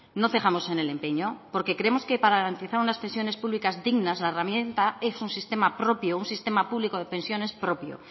no cejamos en el empeño porque creemos que para garantizar unas pensiones públicas dignas la herramienta es un sistema propio un sistema público de pensiones propio